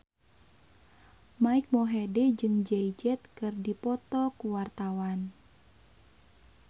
Mike Mohede jeung Jay Z keur dipoto ku wartawan